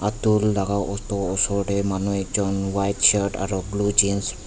tol laka auto osor tae manu ekjon white shirt aro blue jeans .